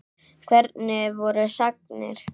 Hvernig voru sagnir?